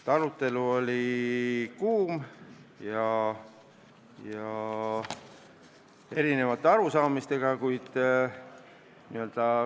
Arutelu oli kuum ja kõlas erinevaid arusaamu.